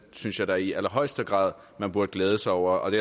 synes jeg da i allerhøjeste grad man burde glæde sig over og det